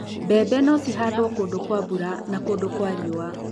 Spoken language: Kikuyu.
mbembe no cihandwo kũndũ kwa mbura na kũndũ kwa riũa